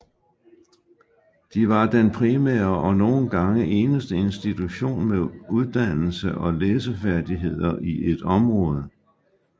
De var den primære og nogle gange eneste institution med uddannelse og læsefærdigheder i et område